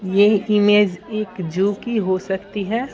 ये इमेज एक जू की हो सकती है।